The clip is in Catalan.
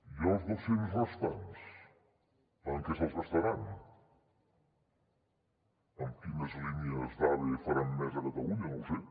i els dos cents restants en què se’ls gastaran quines línies d’ave faran més a catalunya no ho sé